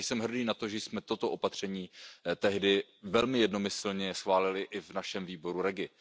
Jsem hrdý na to, že jsme toto opatření tehdy velmi jednomyslně schválili i v našem výboru REGI.